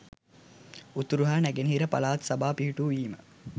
උතුර හා නැගෙනහිර පළාත් සභා පිහිටු වීම